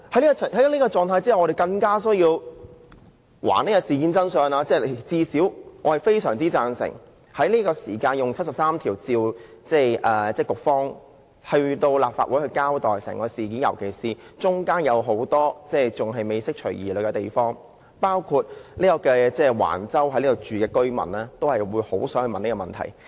在這種狀態之下，我們更有需要還原事件的真相，而最低限度我非常贊成根據《基本法》第七十三條，傳召局方前來立法會交代整件事，尤其是還未釋除疑慮的地方仍有很多，包括橫洲居民在內也很想問的一些問題。